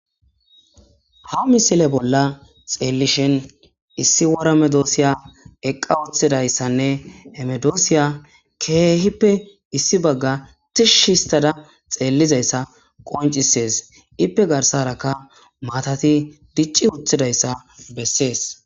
Ha misile bolla xeellishin issi woramedoosiya eqqa uththidayssanne emedoosiya keehippe issi bagga tishshhistada xeellizayssa qoncisees ippe garsarakka maatati dicci uthidayssa bessees.